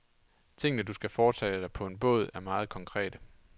Tingene, du skal foretage dig på en båd, er meget konkrete.